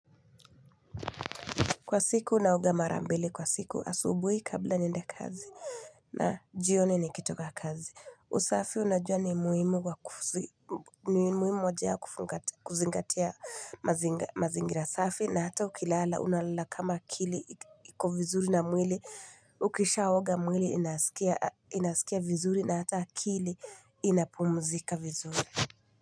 Kwa siku naoga mara mbili kwa siku asubuhi kabla niende kazi na jioni nikitoka kazi. Usafi unajua ni muhimu wa kuzingatia mazingira safi na hata ukilala unalala kama akili iko vizuri na mwili ukisha oga mwili inasikia vizuri na hata akili inapumuzika vizuri.